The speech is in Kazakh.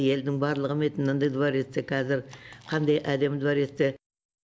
елдің барлығы ме еді мынандай дворецте қазір қандай әдемі дворецте